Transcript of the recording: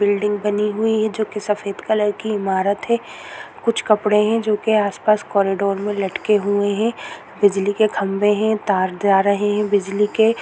building बनी हुई है जो कि सफेद कलर की इमारत है कुछ कपड़े है जो के आस पास कॉरिडोर में लटके हुए है बिजली के खंभे है तार जा रहे है बिजली के--